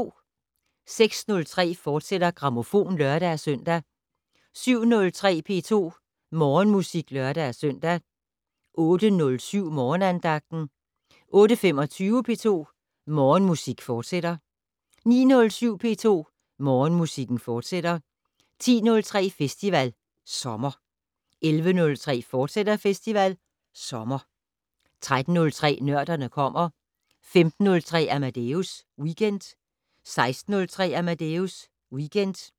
06:03: Grammofon, fortsat (lør-søn) 07:03: P2 Morgenmusik (lør-søn) 08:07: Morgenandagten 08:25: P2 Morgenmusik, fortsat 09:07: P2 Morgenmusik, fortsat 10:03: Festival Sommer 11:03: Festival Sommer, fortsat 13:03: Nørderne kommer 15:03: Amadeus Weekend 16:03: Amadeus Weekend